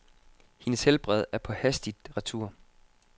Hendes helbred er på hastigt retur.